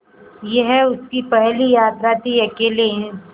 यह उसकी पहली यात्रा थीअकेले